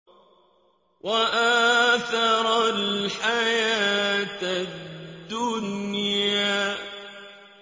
وَآثَرَ الْحَيَاةَ الدُّنْيَا